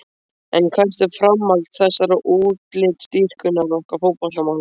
En hvert er framhald þessarar útlitsdýrkunar okkar fótboltamanna?